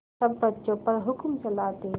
सब बच्चों पर हुक्म चलाते